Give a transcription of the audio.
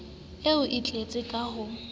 o e tlatse ka ho